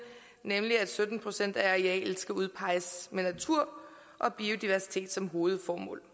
nemlig at sytten procent af arealet skal udpeges med natur og biodiversitet som hovedformål